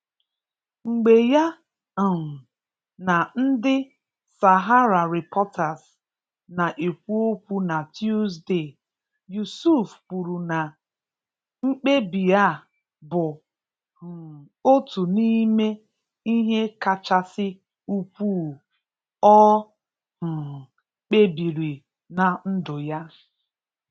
Mgbe ya um na ndị SaharaReporters na-ekwu okwu na Tuzdee, Yusuf kwuru na mkpebi a bụ um otu n'ime ihe kachasị ukwuu o um kpebiri na ndụ ya.